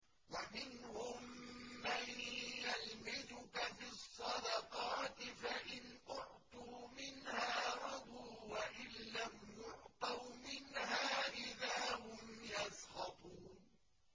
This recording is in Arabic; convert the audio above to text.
وَمِنْهُم مَّن يَلْمِزُكَ فِي الصَّدَقَاتِ فَإِنْ أُعْطُوا مِنْهَا رَضُوا وَإِن لَّمْ يُعْطَوْا مِنْهَا إِذَا هُمْ يَسْخَطُونَ